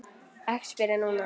Ekki spyrja núna!